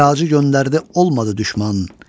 Xəracı göndərdi, olmadı düşmən.